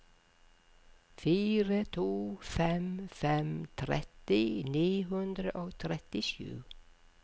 fire to fem fem tretti ni hundre og trettisju